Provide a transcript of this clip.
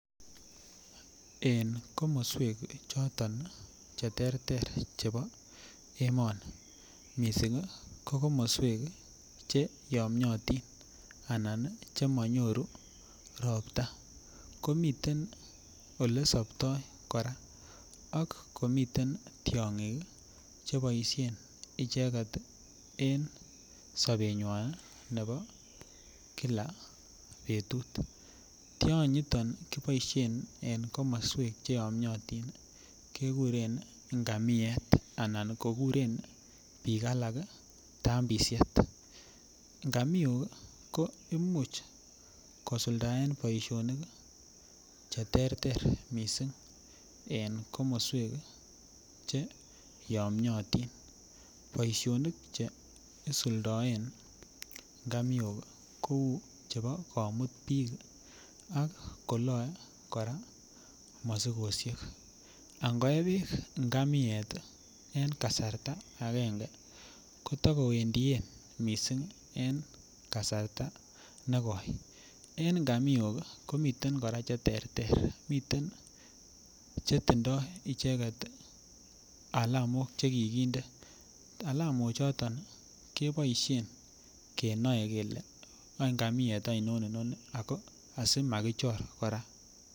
En komoswek choton cheterter che bo emoni missing ko komoswek cheyomiotin anan chemonyoru ropta komiten olesoptoi kora akomiten tiong'ik che boisien icheket ii en sobenywan nebo kila betut, tionyiton kiboisien en komoswek cheyomiatin kekuren ngamiet anan kokuren biik alak tambisiet, ngamiok ko imuch kosuldaen boisionik cheterter missing ko en komoswek cheyomiatin boisionik che isuldoen ngamiok ii ko cheu che bo komut biik akoloe kora mosikosiek .angoe beek ngamiet en kasarta agenge kotokowendien missing en kasarta nekoi, en ngamiok komiten kora cheterter miten chetindoik icheket ii alamok chekikinde, alamo choton keboisien kenoe kele wan ngamiet ainon inoni ako asimakichor kora.